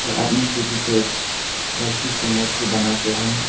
और आदमी के पीछे एक लड़की के मूर्ती बनाकर है।